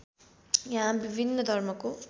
यहाँ विभिन्न धर्मको